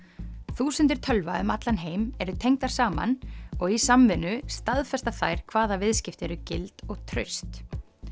þúsundir tölva um allan heim eru tengdar saman og í samvinnu staðfesta þær hvaða viðskipti eru gild og traust